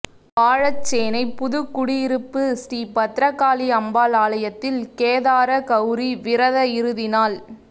வாழைச்சேனை புதுக்குடியிருப்பு ஸ்ரீ பத்திரகாளி அம்பாள் ஆலயத்தில் கேதார கௌரி விரத இறுதிநாள்